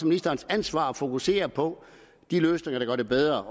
ministerens ansvar at fokusere på de løsninger der gør det bedre